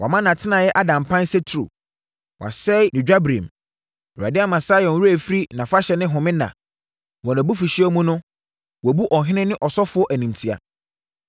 Wama nʼatenaeɛ ada mpan sɛ turo; wasɛe ne dwabirem. Awurade ama Sion werɛ afiri nʼafahyɛ ne home nna; wɔ nʼabufuhyeɛ mu no wabu ɔhene ne ɔsɔfoɔ animtia.